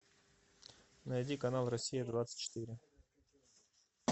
найди канал россия двадцать четыре